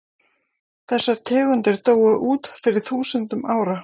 þessar tegundir dóu út fyrir þúsundum ára